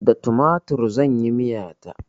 Da tumatir zan yi miya ta.